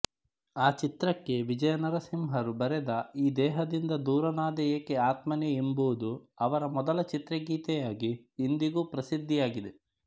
ಆ ಚಿತ್ರಕ್ಕೆ ವಿಜಯನಾರಸಿಂಹರು ಬರೆದ ಈ ದೇಹದಿಂದ ದೂರನಾದೆ ಏಕೆ ಆತ್ಮನೇ ಎಂಬುದು ಅವರ ಮೊದಲ ಚಿತ್ರಗೀತೆಯಾಗಿ ಇಂದಿಗೂ ಪ್ರಸಿದ್ಧಿಯಾಗಿದೆ